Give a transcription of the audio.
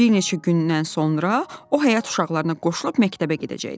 Bir neçə gündən sonra o həyət uşaqlarına qoşulub məktəbə gedəcəkdi.